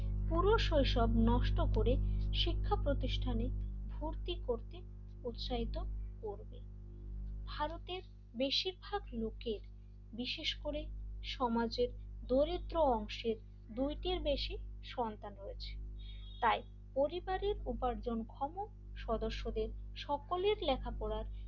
বেশিরভাগ লোকে বিশেষ করে সমাজের দরিদ্র অংশের দুইটির বেশি সন্তান রয়েছে, তাই পরিবারের উপার্জন ক্ষম সদস্যদের সকলের লেখাপড়া,